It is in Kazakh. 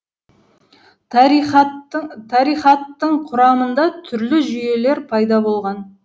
тарихаттың тарихаттың құрамында түрлі жүйелер пайда болған